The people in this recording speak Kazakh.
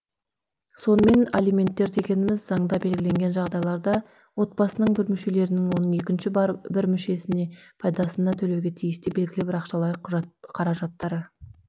сонымен алименттер дегеніміз заңда белгіленген жағдайларда отбасының бір мүшелерінің оның екінші бір мүшелері пайдасына төлеуге тиісті белгілі бір ақшалай қаражаттары